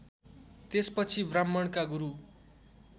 त्यसपछि ब्राह्मणका गुरु